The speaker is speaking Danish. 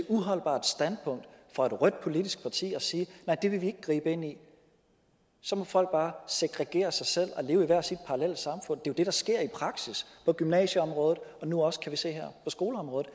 uholdbart standpunkt fra et rødt politisk parti at sige nej det vil vi ikke gribe ind i så må folk bare segregere sig selv og leve i hvert sit parallelle samfund det jo det der sker i praksis på gymnasieområdet og nu også kan vi se her på skoleområdet